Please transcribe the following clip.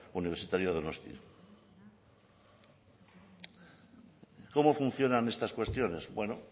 universitario donostia cómo funcionan estas cuestiones bueno